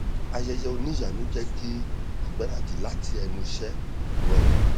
ayẹyẹ oníyanu jẹ kí ìgbaradì lati ẹnu iṣẹ rọrùn